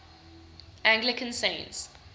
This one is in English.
anglican saints